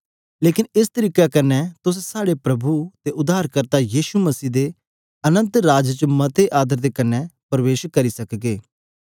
लेकन एस तरीके कन्ने तुस साहडे प्रभु अते उद्धारकर्ता यीशु मसीह दे अनन्त राज च मते आदर दे कन्ने प्रबेश करने तुस पागे